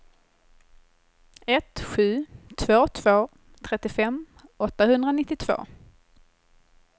ett sju två två trettiofem åttahundranittiotvå